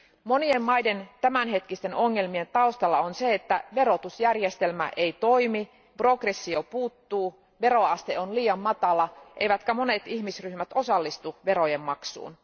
Monien maiden tämänhetkisten ongelmien taustalla on se, että verotusjärjestelmä ei toimi, progressio puuttuu, veroaste on liian matala eivätkä monet ihmisryhmät osallistu verojen maksuun.